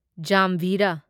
ꯖꯥꯝꯚꯤꯔꯥ